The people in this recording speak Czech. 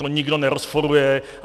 To nikdo nerozporuje.